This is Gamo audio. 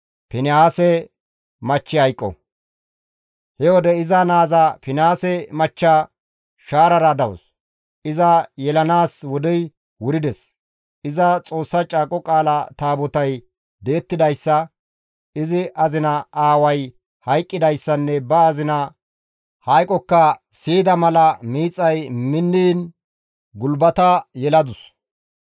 He wode iza naaza Finihaase machcha shaarara dawus; iza yelanaas wodey wurides; iza Xoossa Caaqo Qaala Taabotay di7ettidayssa, izi azina aaway hayqqidayssanne ba azina hayqokka siyida mala miixay minniin gulbata yeladus.